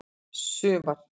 sumar